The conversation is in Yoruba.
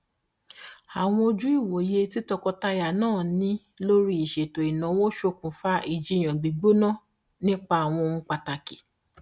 àwọn ojú ìwòye tí tọkọtaya náà ní lórí ìṣètò ìnáwó ṣòkùnfà ìjìyàn gbígbóná nípa àwọn ohun pàtàkì